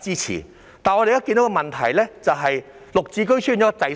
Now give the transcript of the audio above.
支持，但我們現在看到的問題是綠置居滯銷。